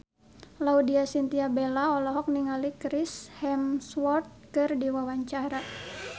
Laudya Chintya Bella olohok ningali Chris Hemsworth keur diwawancara